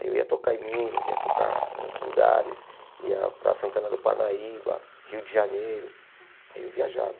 Aí eu ia tocar em Minas, ia tocar em outros lugares, ia para Santana do Panaíba, Rio de Janeiro, aí eu viajava.